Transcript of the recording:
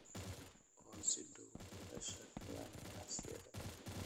oo si dhow ula shaqeeyaan ganacsiyada